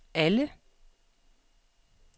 alle